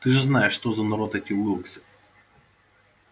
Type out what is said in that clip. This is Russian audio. ты же знаешь что за народ эти уилксы